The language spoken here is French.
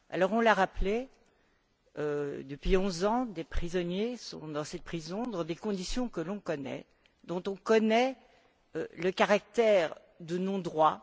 On l'a rappelé, depuis onze ans, des prisonniers sont dans cette prison dans des conditions que l'on connaît, dont on connaît le caractère de non droit.